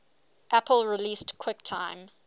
apple released quicktime